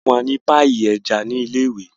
wọ fún wá ní Páyì eja ní ilé ìwé.